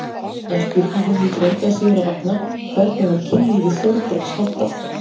En spurningin hlýtur engu að síður að vakna: hvernig var kynlífi Þórbergs háttað?